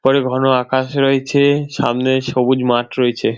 উপরে ঘন আকাশ রয়েছে সামনে সবুজ মাঠ রয়েছে ।